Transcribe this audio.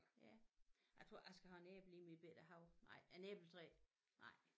Ja jeg tror jeg skal have en æble i min bette have nej en æbletræ nej